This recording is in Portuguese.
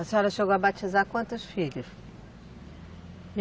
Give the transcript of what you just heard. A senhora chegou a batizar quantos filhos?